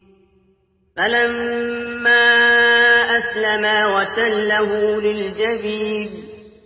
فَلَمَّا أَسْلَمَا وَتَلَّهُ لِلْجَبِينِ